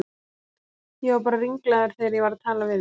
Ég var bara ringlaður þegar ég var að tala við þig.